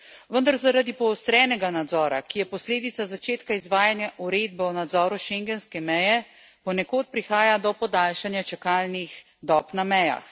Vendar zaradi poostrenega nadzora, ki je posledica začetka izvajanja uredbe o nadzoru schengenske meje, ponekod prihaja do podaljšanja čakalnih dob na mejah.